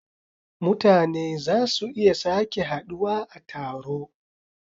mutane za su iya sake haduwa a taro.